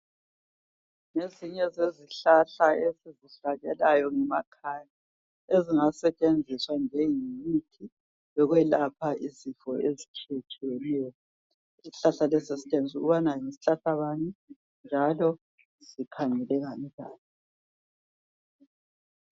Ezinye zezihlahla esizihlanyelayo ngemakhaya ezingasetshenziswa njengemithi yokwelapha izifo ezitshiye tshiyeneyo . Isihlahla lesi sitshengisu kubana yisihlahla bani njalo sikhangeleka njani .